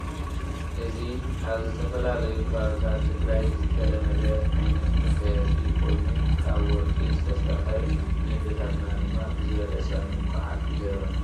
እዚ ኣብ ዝተፈላለዩ ከባቢታት ትግራይ ዝተለመደ ዓይነት መጋየፂ ኮይኑ ካብ ወርቂ ዝተሰርሐ እዩ። ን ኣዴታትና ድማ ብዝበለፀ ሙልኩዓት ይገብረን።